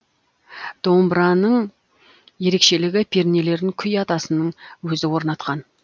домбыраның ерекшелігі пернелерін күй атасының өзі орнатқан